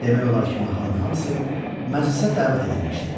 Demək olar ki, mahalın hamısı məclisə dəvət edilmişdi.